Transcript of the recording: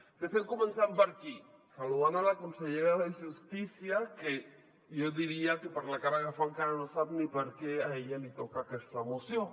de fet comencem per aquí saludant la consellera de justícia que jo diria que per la cara que fa encara no sap ni per què a ella li toca aquesta moció